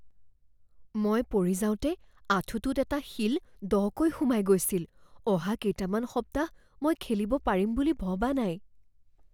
মই পৰি যাওঁতে আঁঠুটোত এটা শিল দকৈ সোমাই গৈছিল। অহা কেইটামান সপ্তাহ মই খেলিব পাৰিম বুলি ভবা নাই।